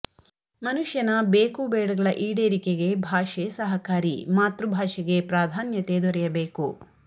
ಮನುಷ್ಯನ ಬೇಕು ಬೇಡಗಳ ಈಡೇರಿಕೆಗೆ ಭಾಷೆ ಸಹಕಾರಿ ಮಾತೃ ಭಾಷೆಗೆ ಪ್ರಾಧ್ಯಾನ್ಯತೆ ದೊರೆಯಬೇಕು